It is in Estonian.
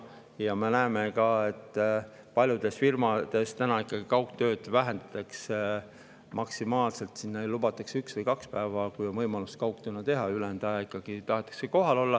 Ja me näeme ka, et paljudes firmades täna kaugtööd vähendatakse, lubatakse maksimaalselt üks või kaks päeva kaugtööd teha, ülejäänud ajal ikkagi tahetakse kohalolu.